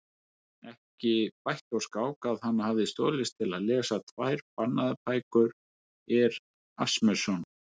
Ekki bætti úr skák að hann hafði stolist til að lesa tvær bannaðar bækur Erasmusar.